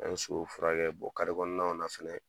An bɛ so k'o furakɛ, o kari kɔnɔnaw na fɛnɛ.